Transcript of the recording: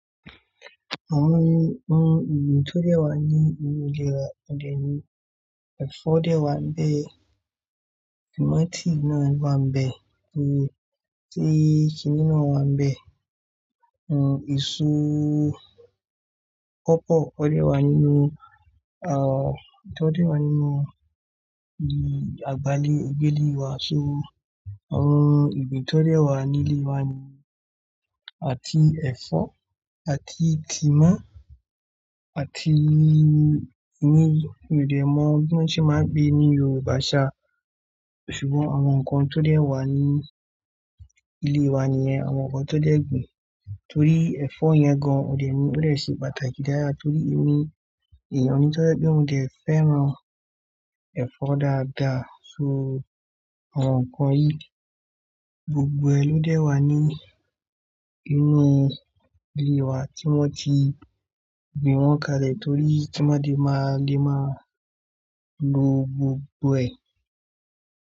Àwon ohun ìgbìn tó dé wà ní inú ilé wa, òde mi. Ẹ̀fọ́ dé wà níbẹ̀, tímọ́́tì náà wà níbẹ̀, ewé tíì kínínnì náà wà níbẹ̀. N èso, pọpọ o dẹ wà nínú, aah, itọ́ dé wà nínú, ìgbàlé, ìgbélé wà. So, àwon ohun ìgbìn tó dé wà ní ilé wa ni, àti ẹ̀fọ́, àti tímọ́, àti inú mi dẹ̀ mọ̀ bí wọ́n ṣe máa ń pé ní Yorùbá ṣa. Ṣùgbọ́n àwọn nǹkan tó dé wà ní ilé wa nìyẹn, àwọn nǹkan tó dẹ̀ gbin. Torí ẹ̀fọ́ yẹn gan ò dẹ̀ mi ó dẹ̀ ṣe pàtàkì dáadáa torí inú èèyàn ni tó ṣe bí mo dẹ̀ fẹ́ran ẹ̀fọ́ dáadáa. So àwọn nǹkan yìí gbogbo ẹ ló dé wà ní inú ilé wa tí wọ́n ti gbìn wọ́n kalẹ̀ torí kí wọ́n má di máa le máa lo gbogbo ẹ̀